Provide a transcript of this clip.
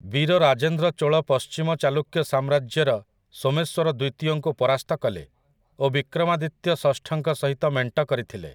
ବୀରରାଜେନ୍ଦ୍ର ଚୋଳ ପଶ୍ଚିମ ଚାଲୁକ୍ୟ ସାମ୍ରାଜ୍ୟର ସୋମେଶ୍ୱର ଦ୍ୱିତୀୟଙ୍କୁ ପରାସ୍ତ କଲେ ଓ ବିକ୍ରମାଦିତ୍ୟ ଷଷ୍ଠଙ୍କ ସହିତ ମେଣ୍ଟ କରିଥିଲେ ।